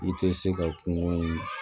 I tɛ se ka kungo in